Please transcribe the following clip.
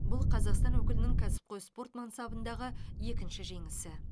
бұл қазақстан өкілінің кәсіпқой спорт мансабындағы екінші жеңісі